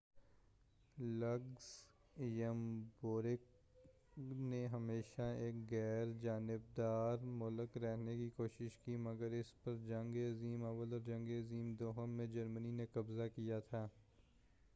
Luxembourg نے ہمیشہ ایک غیرجانبدار مُلک رہنے کی کوشش کی ہے مگر اس پر جنگ عظیم اوّل اور جنگِ عظیم دوئم میں جرمنی نے قبضہ کیا تھا